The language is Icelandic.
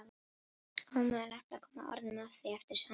Ómögulegt að koma orðum að því eftir samtalið.